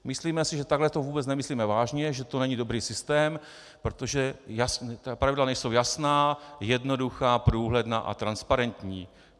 Myslíme si, že takhle to vůbec nemyslíme vážně, že to není dobrý systém, protože pravidla nejsou jasná, jednoduchá, průhledná a transparentní.